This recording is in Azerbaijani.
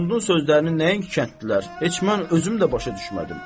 Axundun sözlərini nəinki kəndlilər, heç mən özüm də başa düşmədim.